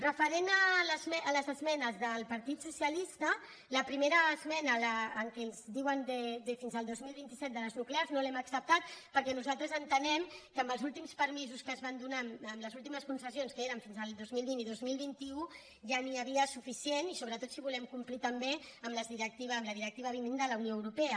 referent a les esmenes del partit socialista la prime·ra esmena en què ens diuen de fins al dos mil vint set de les nuclears no l’hem acceptada perquè nosaltres ente·nem que amb els últims permisos que es van donar amb les últimes concessions que eren fins al dos mil vint i dos mil vint u ja n’hi havia suficient i sobretot si volem com·plir també amb la directiva dos mil vint de la unió europea